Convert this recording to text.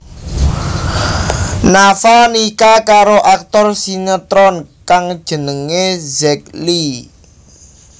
Nafa nikah karo aktor sinetron kang jenengé Zack Lee